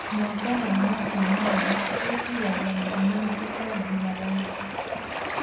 Mwanga wa nacinyaya wĩtĩragia mĩrimũ na tũtambi na raithĩ